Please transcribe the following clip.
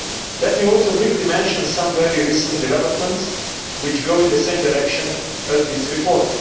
Let me also briefly mention some very recent developments which go in the same direction as this report.